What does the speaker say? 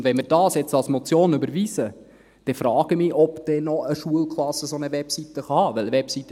Und wenn wir dies jetzt als Motion überweisen, dann frage ich mich, ob eine Schulklasse dann noch eine solche Webseite haben kann.